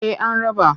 Eh an raba.